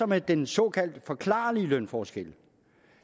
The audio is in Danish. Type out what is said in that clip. med den såkaldte forklarlige lønforskel